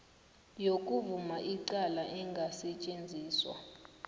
yokuvuma icala engasetjenziswa